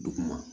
Duguma